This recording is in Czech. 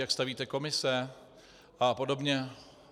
Jak stavíte komise a podobně?